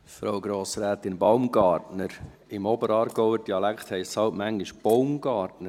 Frau Grossrätin Baumgartner, im Oberaargauer Dialekt heisst es halt manchmal «Boumgartner».